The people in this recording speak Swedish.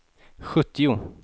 sjuttio